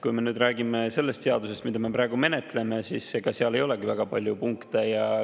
Kui me räägime sellest, mida me praegu menetleme, siis ega seal ei olegi väga palju punkte.